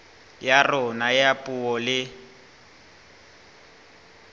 ya rona ya puo le